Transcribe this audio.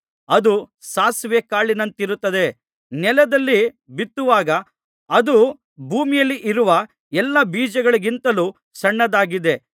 ಅದು ಸಾಸಿವೆ ಕಾಳಿನಂತಿರುತ್ತದೆ ನೆಲದಲ್ಲಿ ಬಿತ್ತುವಾಗ ಅದು ಭೂಮಿಯಲ್ಲಿರುವ ಎಲ್ಲಾ ಬೀಜಗಳಿಗಿಂತಲೂ ಸಣ್ಣದಾಗಿದೆ